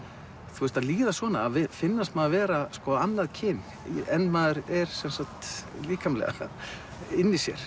þú veist að líða svona að finnast maður vera annað kyn en maður er líkamlega inni í sér